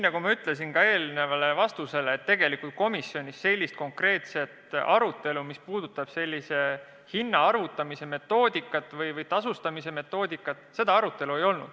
Nagu ma ütlesin ka eelmisele küsimusele vastates, tegelikult komisjonis konkreetset arutelu nende hindade arvutamise metoodika või tasustamise metoodika üle ei olnud.